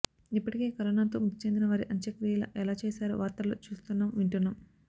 ఇప్పటికే కరోనాతో మృతి చెందిన వారి అంత్యక్రియలు ఎలా చేశారో వార్తల్లో చూస్తున్నాం వింటున్నాం